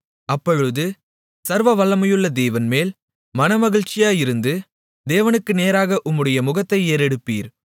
அப்பொழுது சர்வவல்லமையுள்ள தேவன் மேல் மனமகிழ்ச்சியாயிருந்து தேவனுக்கு நேராக உம்முடைய முகத்தை ஏறெடுப்பீர்